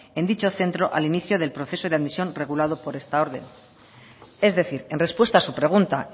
en dicho centro al inicio al proceso de admisión regulado por esta orden es decir en respuesta a su pregunta